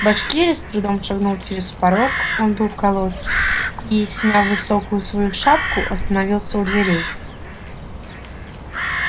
башкирец с трудом шагнул через порог он был в колодке и сняв высокую свою шапку остановился у дверей